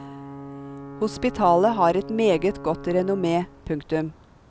Hospitalet har et meget godt renommé. punktum